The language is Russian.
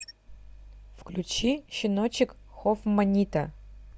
включи щеночек хофманита